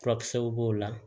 Furakisɛw b'o la